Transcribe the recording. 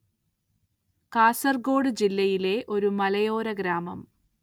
കാസര്‍ഗോഡ് ജില്ല യിലെ ഒരു മലയോര ഗ്രാമം